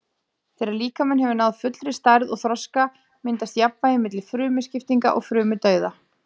Þegar líkaminn hefur náð fullri stærð og þroska myndast jafnvægi milli frumuskiptinga og frumudauða.